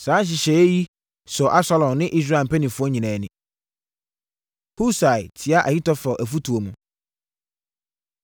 Saa nhyehyɛeɛ yi sɔɔ Absalom ne Israel mpanimfoɔ nyinaa ani. Husai Tia Ahitofel Afotuo Mu